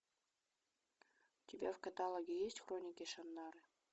у тебя в каталоге есть хроники шаннары